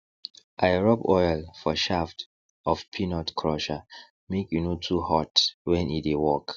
i rub oil for shaft of peanut crusher make e no too hot when e dey work